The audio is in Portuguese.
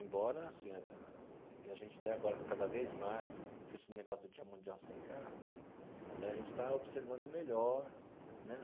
Embora, assim, e a gente tem agora cada vez mais, com esse negócio do Dia Mundial Sem Carro né, a gente está observando melhor né.